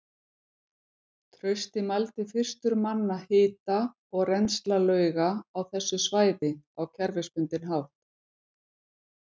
Trausti mældi fyrstur manna hita og rennsli lauga á þessu svæði á kerfisbundinn hátt.